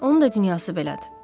Onun da dünyası belədir.